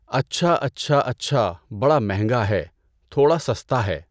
اچھا اچھا اچھا بڑا مہنگا ہے… تھوڑا سَستا ہے۔